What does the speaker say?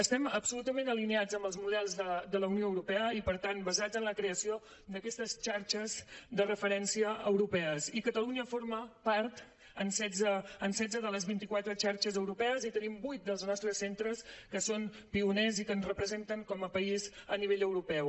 estem absolutament alineats amb els models de la unió europea i per tant basats en la creació d’aquestes xarxes de referència europees i catalunya forma part de setze de les vint i quatre xarxes europees i tenim vuit dels nostres centres que són pioners i que ens representen com a país a nivell europeu